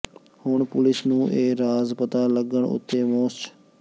ਹੁਣ ਪੁਲਿਸ ਨੂੰ ਇਹ ਰਾਜ ਪਤਾ ਲੱਗਣ ਉਤੇ ਮੋਸਟ